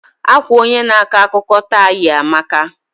Akwa onye na ako akụkọ taa yi amaka.